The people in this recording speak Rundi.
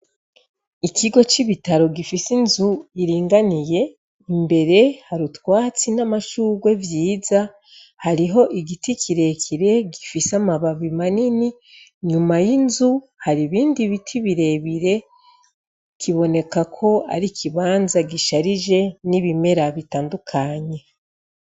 Ikigo c'ibitaro gifise inzu iringaniye imbere har'ivyatsi n'amashurwe biringaniye, igiti ciza gifise amababi manini, inyuma y'inzu hari ibindi biti birebire, kibonekako ari ikibanza gisharije n'ibimera bitandukanye.